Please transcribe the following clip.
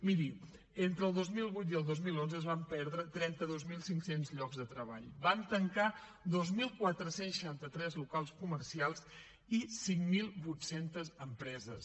miri entre el dos mil vuit i el dos mil onze es van perdre trenta dos mil cinc cents llocs de treball van tancar dos mil quatre cents i seixanta tres locals comercials i cinc mil vuit cents empreses